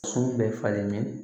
Sun bɛ falen